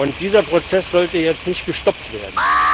Und dieser Prozess sollte jetzt nicht gestoppt werden.